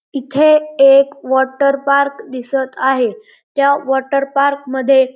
इथे एक water park दिसत आहे त्या वॉटर पार्क मध्ये--